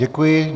Děkuji.